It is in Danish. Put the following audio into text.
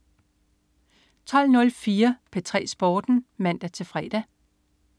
12.04 P3 Sporten (man-fre)